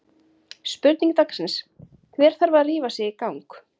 Spurning dagsins: Hver þarf að rífa sig í gang?